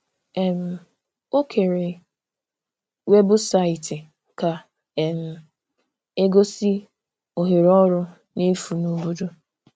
um Ọ kèrè webụsaịtị ka um e gosi ohere ọrụ n’efu n’obodo.